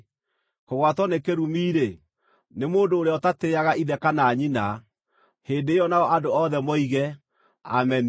“Kũgwatwo nĩ kĩrumi-rĩ, nĩ mũndũ ũrĩa ũtatĩĩaga ithe kana nyina.” Hĩndĩ ĩyo nao andũ othe moige, “Ameni!”